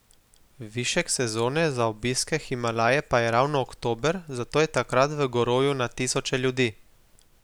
Višek sezone za obisk Himalaje pa je ravno oktober, zato je takrat v gorovju na tisoče ljudi.